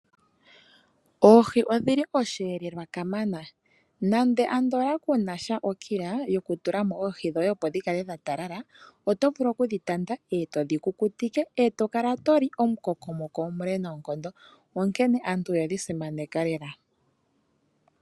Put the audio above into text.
Oohi odhi li osheelelwa kamana. Nando andola ku na sha okila yokutula mo oohi dhoye, opo dhi kale dha talala, oto vulu okudhi tanda e to dhi kukutike e to kala to li omukokomoko omule noonkondo, onkene aantu oyedhi simaneka lela.